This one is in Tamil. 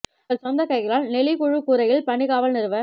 தங்கள் சொந்த கைகளால் நெளி குழு கூரையில் பனி காவல் நிறுவ